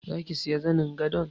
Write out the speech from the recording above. Zaki siya zanin gadon?